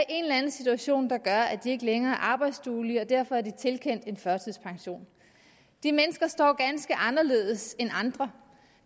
en eller anden situation der gør at de ikke længere er arbejdsduelige og derfor er de tilkendt en førtidspension de mennesker står ganske anderledes end andre